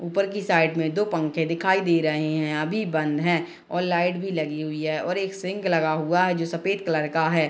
ऊपर की साइड मे दो पंखे दिखाई दे रहे हैं आधी बंद हैं और लाइट भी लगी हुई है और एक सिंक लगा हुआ है जो सफ़ेद कलर का है ।